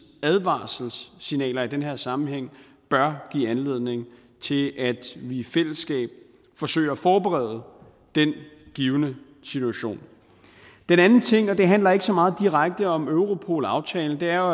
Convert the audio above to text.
advarselssignaler i den her sammenhæng bør give anledning til at vi i fællesskab forsøger at forberede den givne situation den anden ting og det handler ikke så meget direkte om europolaftalen er